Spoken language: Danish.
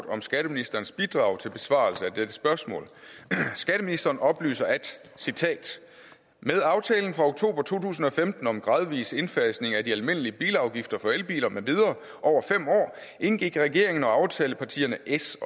om skatteministerens bidrag til besvarelse af dette spørgsmål skatteministeren oplyser citat med aftalen fra oktober to tusind og femten om en gradvis indfasning af de almindelige bilafgifter for elbiler med videre over fem år indgik regeringen og aftalepartierne s